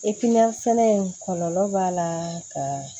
sɛnɛ in kɔlɔlɔ b'a la ka